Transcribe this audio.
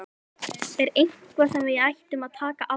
Er það eitthvað sem við ættum að taka alvarlega?